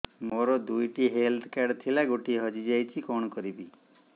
ମୋର ଦୁଇଟି health card ଥିଲା ଗୋଟିଏ ହଜି ଯାଇଛି କଣ କରିବି